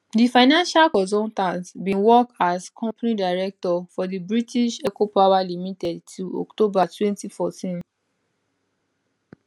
di financial consultant bin work as company director for di british eco power limited till october 2014